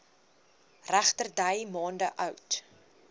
regterdy maande oud